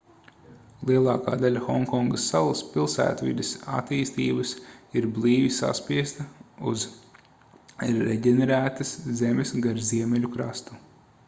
lielākā daļa honkongas salas pilsētvides attīstības ir blīvi saspiesta uz reģenerētas zemes gar ziemeļu krastu